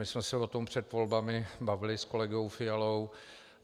My jsme se o tom před volbami bavili s kolegou Fialou.